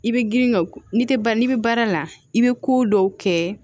I bɛ girin ka n'i tɛ n'i bɛ baara la i bɛ ko dɔw kɛ